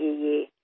মই একোৱেই নহয়